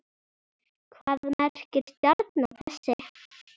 Hvað merkir stjarna þessi?